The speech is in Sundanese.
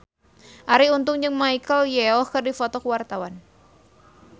Arie Untung jeung Michelle Yeoh keur dipoto ku wartawan